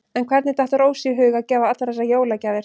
En hvernig datt Rósu í hug að gefa allar þessar jólagjafir?